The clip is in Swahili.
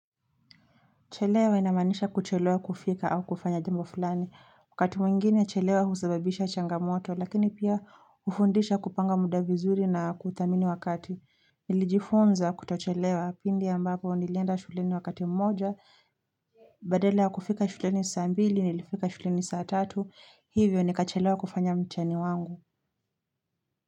Chelewa inamaanisha kuchelewa kufika au kufanya jambo fulani wakati mwingine chelewa husababisha changamoto lakini pia hufundisha kupanga muda vizuri na kudhamini wakati Nilijifunza kutochelewa pindi ambapo nilienda shuleni wakati mmoja Badalaya kufika shuleni saa mbili nilifika shuleni saa tatu hivyo nikachelewa kufanya mtihani wangu.